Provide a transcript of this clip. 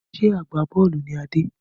Ṣé agbá-bọ́ọ́lù ni Adé?